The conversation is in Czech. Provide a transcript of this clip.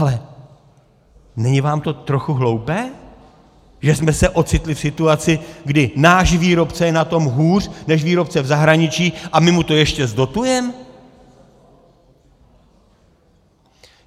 Ale není vám to trochu hloupé, že jsme se ocitli v situaci, kdy náš výrobce je na tom hůř než výrobce v zahraničí, a my mu to ještě zdotujeme?